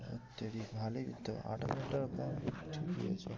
ও তেরি ভালোই তো আঠাশ হাজার টাকা কম ঠিকই আছে।